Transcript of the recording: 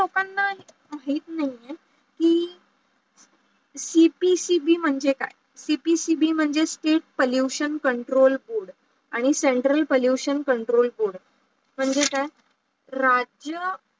हेच नाही आहे की cpcb म्हणजे काय? cpcb म्हजे state pollution control board आणी central pollution control board म्हणजे काय? राज्य